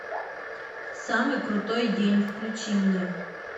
самый крутой день включи мне